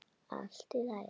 Allt í lagi, elskan.